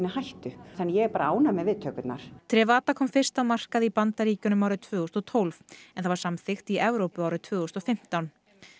hættu þannig að ég er bara ánægð með viðtökurnar kom fyrst á markað í Bandaríkjunum árið tvö þúsund og tólf en var samþykkt í Evrópu árið tvö þúsund og fimmtán